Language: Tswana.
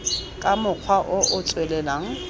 ka mokgwa o o tswelelang